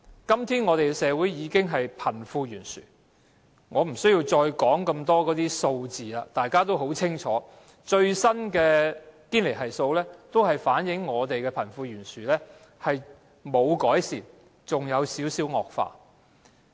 今天香港的社會已經是貧富懸殊，我也無需再多說有關的數字，大家已經很清楚，最新的堅尼系數反映香港的貧富懸殊情況沒有改善，甚至更有一點惡化。